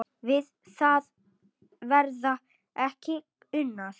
Við það verði ekki unað.